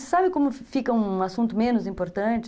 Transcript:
Mas sabe como fica um assunto menos importante?